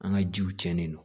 An ka jiw cɛnnen don